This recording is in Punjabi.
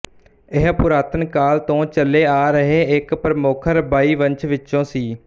ਇਹ ਪੁਰਾਤਨ ਕਾਲ ਤੋਂ ਚੱਲੇ ਆ ਰਹੇ ਇੱਕ ਪ੍ਰਮੁੱਖ ਰਬਾਈ ਵੰਸ਼ ਵਿਚੋਂ ਸੀ